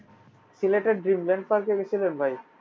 সিলেটের dreamland park এ গেছিলেন ভাই?